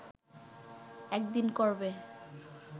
একদিন করবে